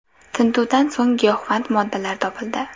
Tintuvdan so‘ng giyohvand moddalar topildi.